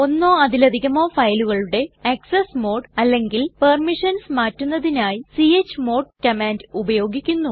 ഒന്നോ അതിലധികമോ ഫയലുകളുടെ ആക്സസ് മോഡ് അല്ലെങ്കിൽ പെർമിഷൻസ് മാറ്റുന്നതിനായി ച്മോഡ് കമാൻഡ് ഉപയോഗിക്കുന്നു